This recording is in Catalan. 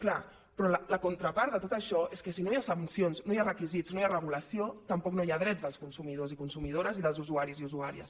clar però la contrapart de tot això és que si no hi ha sancions no hi ha requisits no hi ha regulació tampoc no hi ha drets dels consumidors i consumidores i dels usuaris i usuàries